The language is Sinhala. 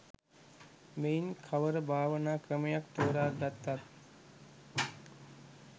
මෙයින් කවර භාවනා ක්‍රමයක් තෝරා ගත්තත්